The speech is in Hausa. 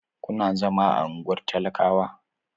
Kuna zama a unguwar talakawa?